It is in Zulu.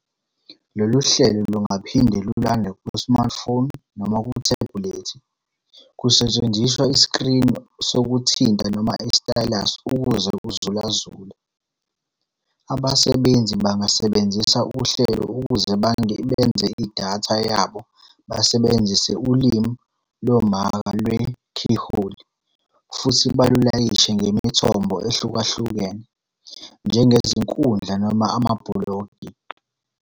Lolu hlelo lungaphinda lulandwe ku-smartphone noma kuthebhulethi, kusetshenziswa isikrini sokuthinta noma i-stylus ukuze uzulazule. Abasebenzisi bangasebenzisa uhlelo ukuze bengeze idatha yabo besebenzisa Ulimi Lomaka Lwe-Keyhole futhi balulayishe ngemithombo ehlukahlukene, njengezinkundla noma amabhulogi.